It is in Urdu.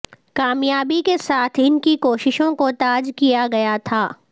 کامیابی کے ساتھ ان کی کوششوں کو تاج کیا گیا تھا